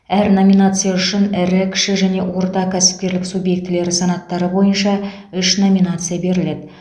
әр номинация үшін ірі кіші және орта кәсіпкерлік субъектілері санаттары бойынша үш номинация беріледі